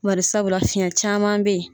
Bari sabula fiɲɛ caman bɛ ye.